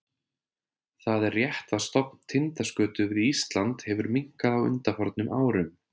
Það er rétt að stofn tindaskötu við Ísland hefur minnkað á undanförnum árum.